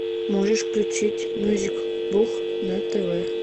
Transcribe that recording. можешь включить мьюзик бокс на тв